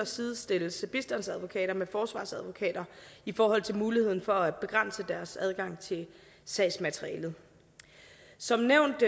sidestilles bistandsadvokater med forsvarsadvokater i forhold til muligheden for at begrænse deres adgang til sagsmateriale som nævnt